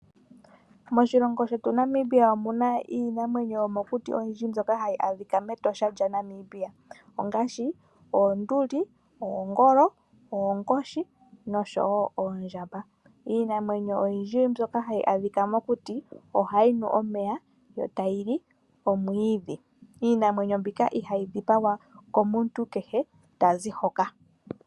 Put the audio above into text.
Moshilongo shetu Namibia omuna iinamwenyo yomokuti ndyoka hayi adhika mEtosha lya Namibia ongaashi oonduli, oongolo, oonkoshi noshowo oondjamba. Iinamwenyo oyindji ndyoka hayi adhika mokuti ohayi nu omeya yo tayi li omwiidhi. Iinamwenyo mbika ihayi dhipangwa komuntu kehe tazi hoka.